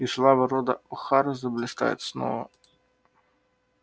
и слава рода охара заблистает снова